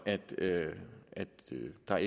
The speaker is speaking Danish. der